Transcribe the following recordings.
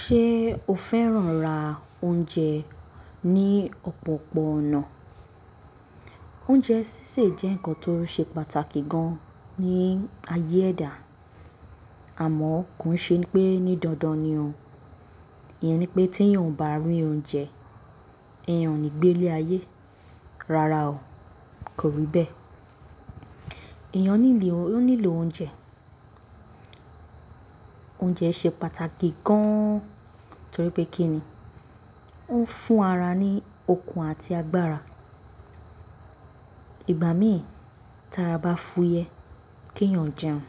Ṣé o fẹ́ràn ra oúnjẹ ní ọ̀pọ̀pọ̀ ọ̀nà? Oúnjẹ sísè jẹ́ ǹkan tó ṣe pàtàkì gan ní ayé ẹ̀dá, àmọ́ kò ṣe pé ní dandan ni òo. Ìyẹn ni pé tí èèyàn ò bá rí oúnjẹ, èèyàn ò ní gbé ilé ayé. Rárá o, kò rí bẹ́ẹ̀. Ìyẹn nílò oúnjẹ. Oúnjẹ ṣe pàtàkì gan, torí pé kí ni? Ó ń fún ara ní okun àti agbára. Ìgbà mìíràn, tí ara bá fúyẹ́, kí èèyàn jẹun.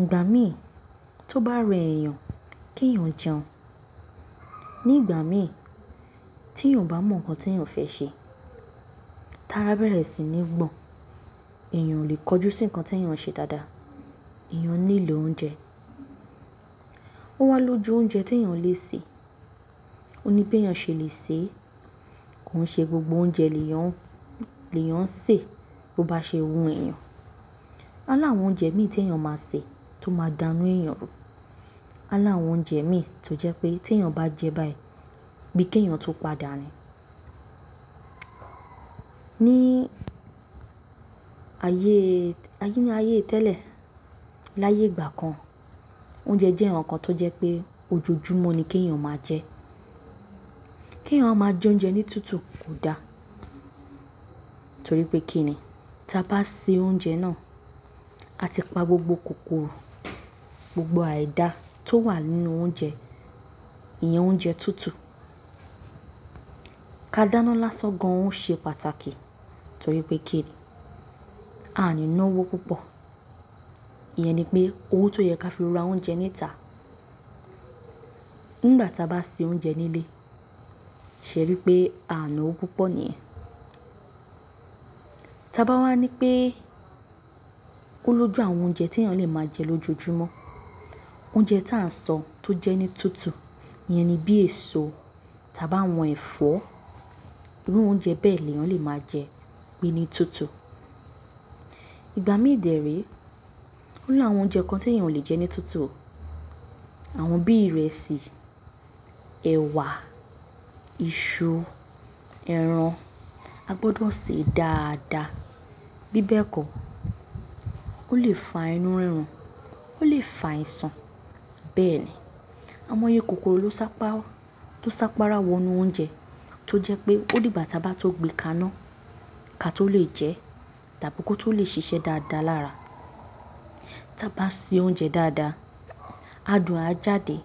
Ìgbà mìíràn, tó bá rẹ èèyàn, kí èèyàn jẹun. Ní ìgbà mìíràn, tí èèyàn ò bá mọ ǹkan tí èèyàn fẹ́ ṣe, tí ara bá bẹ̀rẹ̀ sí ní gbọ̀n, èèyàn ò lè kojú sí ǹkan tí èèyàn ń ṣe dáadáa, èèyàn nílò oúnjẹ. Ó wá lójú oúnjẹ tí èèyàn lè sè. Ó ní bi èèyàn ṣe lè sè é, kò ń ṣe gbogbo oúnjẹ ni èèyàn, ni èèyàn sè bó bá ṣe wu èèyàn. Oo ni àwọn oúnjẹ mìíràn tí èèyàn máa sè tó máa dáná èèyàn. Oni àwọn oúnjẹ mìíràn tó jẹ́ pé tí èèyàn bá jẹ báyìí, bíi kí èèyàn tu padà ni. Ní ayé, ayé ni ayé tẹ́lẹ̀, láyé ìgbà kan, oúnjẹ jẹ́ ǹkan tó jẹ́ pé ojoojúmọ́ ni kí èèyàn máa jẹ. Kí èèyàn ó máa jẹ oúnjẹ ní tútù kò dá, torí pé kí ni? Tí a bá sè oúnjẹ náà, a ti pa gbogbo kòkòrò, gbogbo àìda tó wà nínú oúnjẹ, iye oúnjẹ tútù. Ka dáná lásán gan ń ṣe pàtàkì, torí pé kí ni? A ní ná owó púpọ̀. Ìyẹn ni pé owó tó yẹ kí á fi ra oúnjẹ níta. Nígbà tí a bá sè oúnjẹ nílé, ṣé rí pé a ná owó púpọ̀ níì yẹn. Tí a bá wá ní pé oo lójú àwọn oúnjẹ tí èèyàn lè máa jẹ lójoojúmọ́, oúnjẹ tá a sọ tó jẹ́ ni tútù, ìyẹn ni bí èso, tí a bá wọn ẹ̀fọ́, irú oúnjẹ bẹ́ẹ̀ ni èèyàn lè máa jẹ, pe ní tútù. Ìgbà mìíràn de re, oo ni àwọn oúnjẹ kan tí èèyàn oo le jẹ́ ní tútù, àwọn bí ìrẹsì, ẹ̀wà, iṣu, ẹran, a gbọdọ̀ sè é dáadáa. Bí bẹ́ẹ̀ kọ́, ó lè fa inú rírun, ó lè fa àìsàn bẹ́ẹ̀ni. Aimọ̀ye kòkòrò tó sápará, tó sápará wọ inú oúnjẹ, tó jẹ́ pé ó di igbá tí a bá tó gbe ka ná, ka tó lè jẹ́ tàbí kó tó lè ṣiṣẹ́ dáadáa lára. Tí a bá sè oúnjẹ dáadáa, adùn a jáde,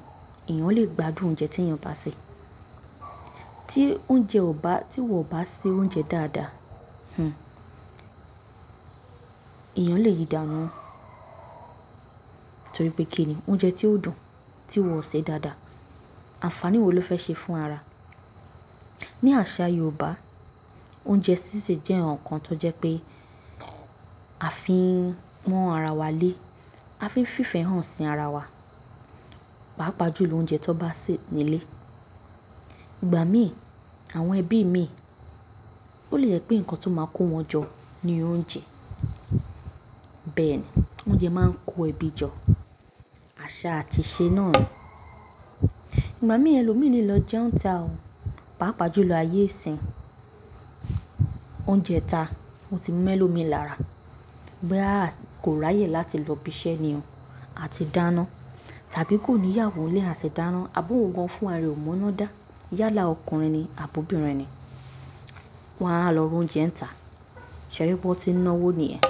èèyàn lè gbádùn oúnjẹ tí èèyàn bá sè. Tí oúnjẹ ò bá, tí wọ̀n oo bá sè oúnjẹ dáadáa, hm, èèyàn lè yi danu, torí pé kí ni? Oúnjẹ tí ó dùn tí wọ̀ ṣe dáadáa, àǹfàní wo ló fẹ́ ṣe fún ara? Ní àṣà Yorùbá, oúnjẹ sísè jẹ́ ǹkan tó jẹ́ pé a fi ń pọ́n ara wa lé, a fi ń fífẹ́ hàn sí ara wa, pàápàá jù lọ, oúnjẹ tó bá sè nílé. Ìgbà mìíràn, àwọn ẹbí mìíràn, ó lè jẹ́ pé ǹkan ti oó máa kó wọn jọ ni oúnjẹ. Bẹ́ẹ̀ni, oúnjẹ máa ń kó ẹbí jọ. Àṣà àti ìṣe náà ni. Ìgbà mìíràn ẹlòmíràn lè lọ jẹ oúnjẹ níta, pàápàá jù lọ ayé ìsìn. Oúnjẹ itá o ti ń mo elómi lára boya kò ráyè láti lọ bísẹ́ ni oo àti dáná tàbí kò níyàwó lè ati dáná, àbi ohun gan fún ra re kọ̀ mọ̀ ina dá, yálà ọkùnrin ni àbi obìnrin ni, wọ́n wá lọ ra oúnjẹ níta. Ṣé rí pé ó ti ń ná owó nìyẹn.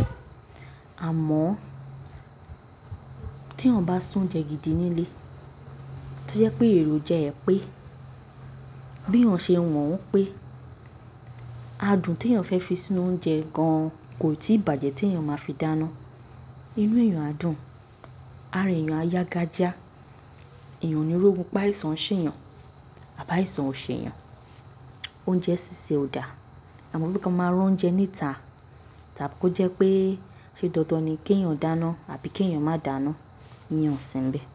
Àmọ́ tí èèyàn bá se oúnjẹ gidi nílé, tó jẹ́ pé èrò jẹ ẹ pé, bí èèyàn ṣe wọ̀n ń pé, adùn tí èèyàn fẹ́ fi sínú oúnjẹ gan kò tíì bàjẹ́ tí èèyàn máa fi dáná. Inú èèyàn á dùn, ara èèyàn á yágájá, èèyàn oní ri ógun pé àìsàn ṣe èèyàn àbí àìsàn ò ṣe èèyàn. Oúnjẹ sísè ò dáa, àmọ́ bí kí a máa ra oúnjẹ níta tàbí kó jẹ́ pé ṣe dandan ni kí èèyàn dáná àbí kí èèyàn má dàáná, ìyẹn ò sí níbẹ̀